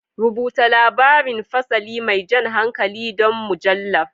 Rubuta labarin fasali mai jan hankali don mujallar.